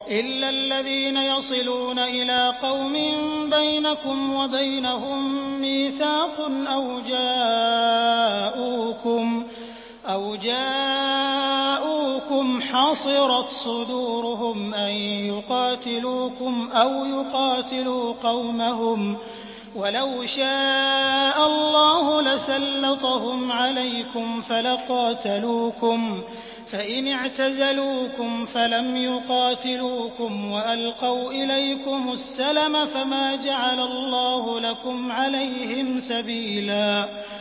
إِلَّا الَّذِينَ يَصِلُونَ إِلَىٰ قَوْمٍ بَيْنَكُمْ وَبَيْنَهُم مِّيثَاقٌ أَوْ جَاءُوكُمْ حَصِرَتْ صُدُورُهُمْ أَن يُقَاتِلُوكُمْ أَوْ يُقَاتِلُوا قَوْمَهُمْ ۚ وَلَوْ شَاءَ اللَّهُ لَسَلَّطَهُمْ عَلَيْكُمْ فَلَقَاتَلُوكُمْ ۚ فَإِنِ اعْتَزَلُوكُمْ فَلَمْ يُقَاتِلُوكُمْ وَأَلْقَوْا إِلَيْكُمُ السَّلَمَ فَمَا جَعَلَ اللَّهُ لَكُمْ عَلَيْهِمْ سَبِيلًا